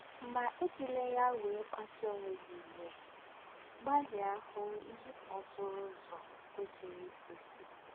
Mà èjị̀lá yá wèrè kpásụ́ọ̀ ónwẹ̀ gị̀ íwè; gbalị̀à hū̄ íhè n’ọ̌tụ̣rụ̣ ứzọ̀ kwesìrì íkwesí.